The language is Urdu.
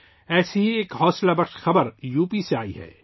ایسی ہی ایک حوصلہ افزا خبر یوپی سے آئی ہے